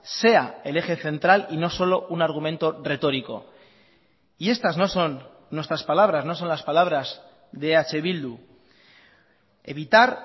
sea el eje central y no solo un argumento retórico y estas no son nuestras palabras no son las palabras de eh bildu evitar